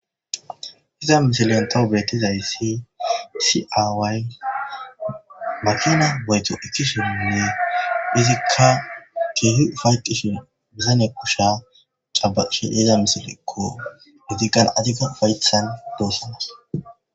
Iza misilontaw beettizayssi siaaway makina boyto ikkishiminne izikka kiihi ufayqqishin bizane kushsha cabaqishe yiza misilekko izikan azika faythan doosanas.